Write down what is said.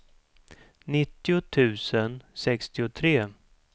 nittio tusen sextiotre